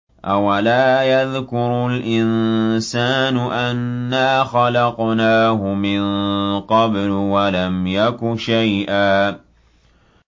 أَوَلَا يَذْكُرُ الْإِنسَانُ أَنَّا خَلَقْنَاهُ مِن قَبْلُ وَلَمْ يَكُ شَيْئًا